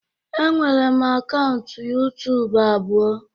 Enwere m akaụntụ YuTubu abụọ